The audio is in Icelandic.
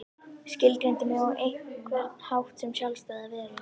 Skilgreindi mig á einhvern hátt sem sjálfstæða veru.